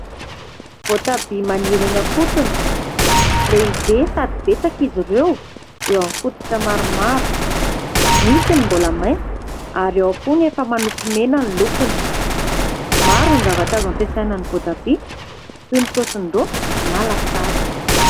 Voatabia maniry eny am-potony. Lehibe sady betsaka izy ireo eo amin'ny fototra maromaro. Misy ny mbola maitso ary ao koa ny efa manopy mena ny lokony. Maro ny zavatra azo ampiasaina ny voatabia toy ny saosin-doaka na lasary.